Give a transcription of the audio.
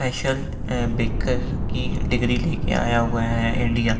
special a baker की degree लेके आया हुआ है इंडिया --